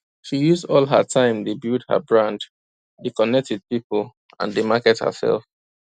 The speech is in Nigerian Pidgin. she use all her time dey build her brand dey connect with people and dey market hersef